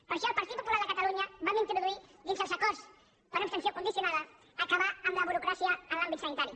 per això el partit popular de catalunya vam introduir dins els acords per abstenció condicionada acabar amb la burocràcia en l’àmbit sanitari